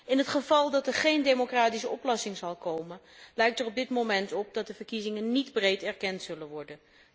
In het geval dat er geen democratische oplossing komt, ziet het er op dit moment naar uit dat de verkiezingen niet breed erkend zullen worden.